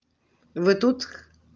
вы тут